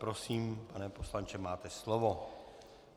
Prosím pane poslanče, máte slovo.